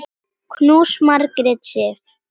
Knús, Margrét Sif.